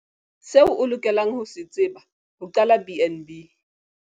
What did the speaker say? Seo o lokelang ho se tseba ho qala BnB.